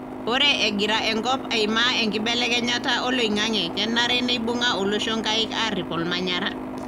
ore egira enkop aima enkibelekenyata oloingange kenare neibunga olosho nkaik arip olmanyara.